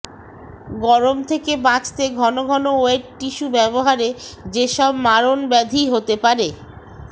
গরম থেকে বাঁচতে ঘন ঘন ওয়েট টিস্যু ব্যবহারে যেসব মারণব্যাধি হতে পারে